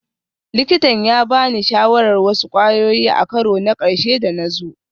Likitan ya ba ni shawarar wasu kwayoyi a karo na ƙarshe da na zo